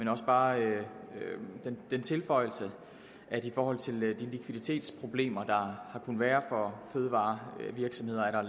har bare den tilføjelse at i forhold til de likviditetsproblemer der har kunnet være for fødevarevirksomheder er der